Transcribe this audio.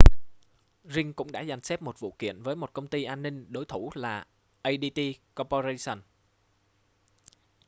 ring cũng đã dàn xếp một vụ kiện với một công ty an ninh đối thủ là adt corporation